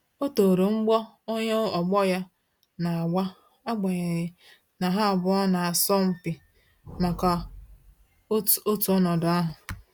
O toro mgbọ onye ọgbọ ya na-agba agbanyeghi na ha abụọ na-asọ mpi maka otu ọnọdụ ahụ